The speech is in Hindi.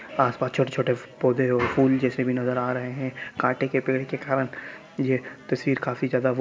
आस-पास छोटे-छोटे पौधें और फूल जैसे भी नजर आ रहे हैं| कांटे के पेड़ के कारण यह तस्वीर काफी ज्यादा--